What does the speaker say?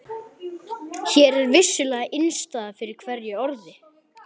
Hér er vissulega innistæða fyrir hverju orði.